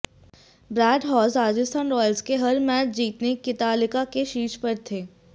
bread Hodge Rajasthan Royals के हर match जीतने कीतालिका के शीर्ष पर थे